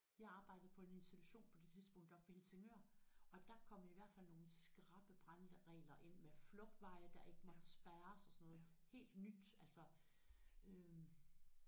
Jeg arbejdede på en institution på det tidspunkt oppe ved Helsingør og der kom i hvert fald nogle skrappe brandregler ind med flugtveje der ikke måtte spærres og sådan noget helt nyt altså øh